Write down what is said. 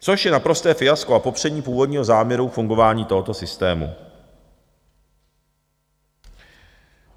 Což je naprosté fiasko, a popření původního záměru fungování tohoto systému.